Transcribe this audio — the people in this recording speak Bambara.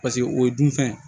Paseke o ye dunfɛn